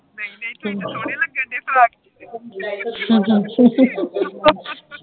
ਨੀ ਨੀ ਦੀਦੀ ਤੁਸੀ ਬੜੇ ਸੋਹਣੇ ਲੱਗਣ ਦਏ ਸੀ